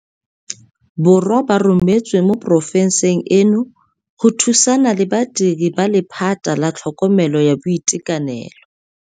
Borwa ba rometswe mo porofenseng eno go thusana le badiri ba lephata la tlhokomelo ya boitekanelo.